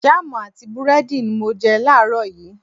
Jáàmù àti búrẹ́dì ni mo jẹ láàrọ̀ yìí